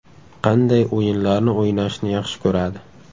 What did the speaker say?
Qanday o‘yinlarni o‘ynashni yaxshi ko‘radi?